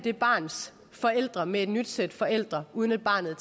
det barns forældre med et nyt sæt forældre uden at barnet